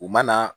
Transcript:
U ma na